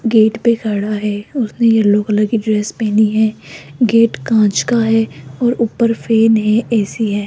Gate पे खड़ा है उसने येलो कलर की ड्रेस पहनी है गेट कांच का है और ऊपर फैन है ए_सी है।